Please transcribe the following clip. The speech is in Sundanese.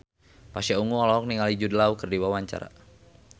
Pasha Ungu olohok ningali Jude Law keur diwawancara